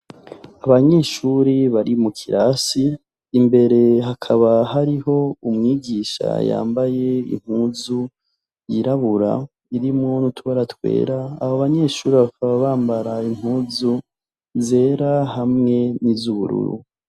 Abanyeshure bari mukirasi imbere hakaba hariho umwigisha yambaye impuzu yirabura irimwo n'utubara twera abo banyeshure bakaba bambara impuzu zera hamwe niz’ubururu.